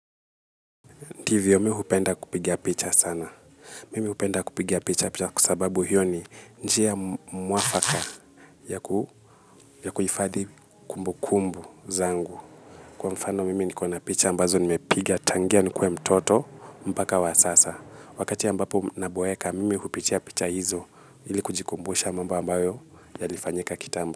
Ndivyo mi hupenda kupiga picha sana. Mimi hupenda kupigia picha, picha kwa sababu hiyo ni njia mwafaka yaku, ya kuhifadhi kumbu kumbu zangu. Kwa mfano mimi niko na picha ambazo nimepiga tangia nikuwe mtoto mpaka wa sasa. Wakati ambapo naboeka mimi hupitia picha hizo ilikujikumbusha mambo ambayo yalifanyika kitambo.